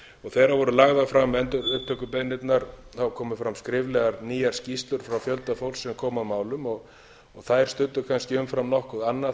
um þegar voru lagðar fram endurupptökubeiðnirnar komu fram skriflegar nýjar skýrslur frá fjölda fólks sem kom að málum þær studdu kannski umfram nokkuð annað